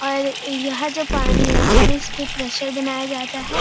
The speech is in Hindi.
और यह जो पानी है पहले इसपे प्रेसर बनया जाता है।